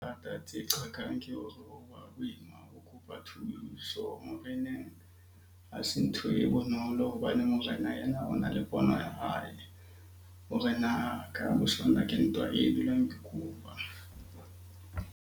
Hangata tse qakang ke hore ho ba boima ho kopa thuso moreneng. Ha se ntho e bonolo hobane morena ena o na le pono ya hae hore na ka ke ntwa e dulang e kupa.